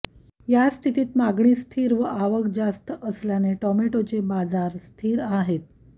या स्थितीत मागणी स्थिर व आवक जास्त असल्याने टोमॅटोचे बाजार स्थिर आहेत